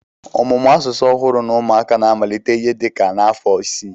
Ọmụmụ asụsụ ọhụrụ n'ụmụaka na-amalite ihe dị ka n'afọ isii